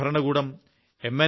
ജില്ലാ ഭരണകൂടം എം